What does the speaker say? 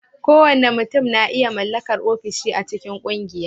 Kowane mutum na iya mallakar ofishi a cikin ƙungiya